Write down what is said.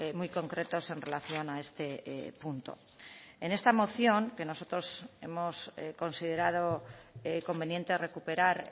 muy concretos en relación a este punto en esta moción que nosotros hemos considerado conveniente recuperar